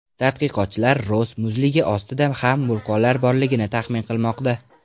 Tadqiqotchilar Ross muzligi ostida ham vulqonlar borligini taxmin qilmoqda.